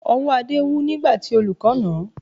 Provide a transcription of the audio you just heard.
Ọwọ́ Adé wú nígbà tí olùkọ́ nà án